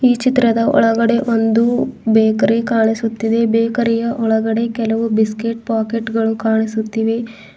ಈ ಚಿತ್ರದ ಒಳಗಡೆ ಒಂದು ಬೇಕರಿ ಕಾಣಿಸುತ್ತಿದೆ ಬೇಕರಿಯ ಒಳಗಡೆ ಕೆಲವು ಬಿಸ್ಕೆಟ್ ಪಾಕೆಟ್ ಗಳು ಕಾಣಿಸುತ್ತಿವೆ.